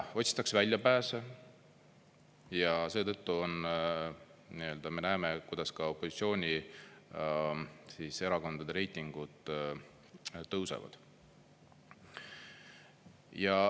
Otsitakse väljapääse ja seetõttu me näeme, kuidas ka opositsioonierakondade reitingud tõusevad.